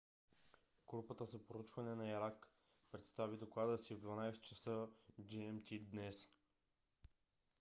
групата за проучване на ирак представи доклада си в 12:00 ч. gmt днес